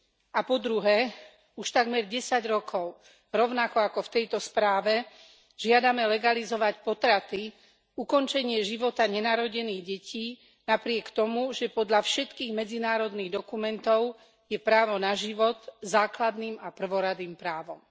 A po druhé už takmer 10 rokov, rovnako ako v tejto správe, žiadame legalizovať potraty, ukončenie života nenarodených detí, napriek tomu, že podľa všetkých medzinárodných dokumentov je právo na život základným a prvoradým právom.